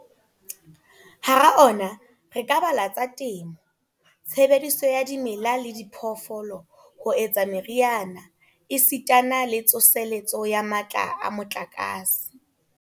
Hara ona re ka bala a tsa temo, tshebediso ya dimela le diphoofolo ho etsa meriana esitana le tsoseletso ya matla a motlakase.